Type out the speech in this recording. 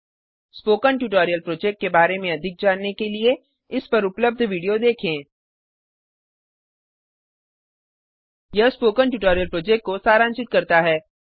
spoken tutorial project के बारे में अधिक जानने के लिए इस पर उपलब्ध वीडियो देखें httpspoken tutorialorgWhat is a Spoken Tutorial यह स्पोकन ट्यूटोरियल प्रोजेक्ट को सारांशित करता है